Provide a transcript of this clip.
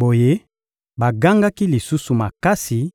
Boye bagangaki lisusu makasi